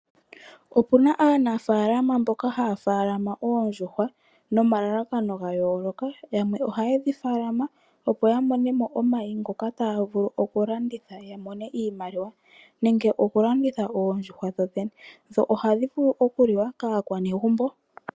Opuna aanafaalama mboka haya faalama oondjuhwa nomalalakano gayooloka, yamwe ohaye dhi faalama yamone mo omayi ngoka taya vulu oku landitha yamone mo iimaliwa, nenge oku landitha oondjuhwa dho dhene, dho ohadhi vulu oku li wa kaakwanegumbo.